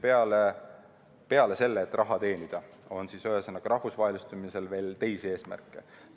Ühesõnaga, peale selle, et raha teenida, on rahvusvahelistumisel veel teisi eesmärke.